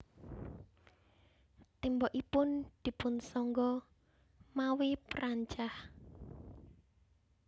Tembokipun dipunsangga mawi perancah